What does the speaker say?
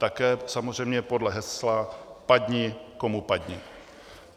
Také samozřejmě podle hesla padni komu padni.